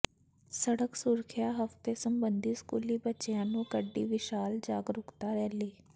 ਸੜਕ ਸੁਰੱਖਿਆ ਹਫ਼ਤੇ ਸਬੰਧੀ ਸਕੂਲੀ ਬੱਚਿਆਂ ਨੇ ਕੱਢੀ ਵਿਸ਼ਾਲ ਜਾਗਰੂਕਤਾ ਰੈਲੀ